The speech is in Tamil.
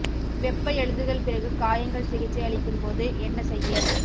வெப்ப எழுதுதல் பிறகு காயங்கள் சிகிச்சை அளிக்கும் போது என்ன செய்ய